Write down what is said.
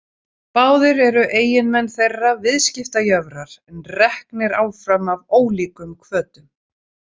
Báðir eru eiginmenn þeirra viðskiptajöfrar en reknir áfram af ólíkum hvötum.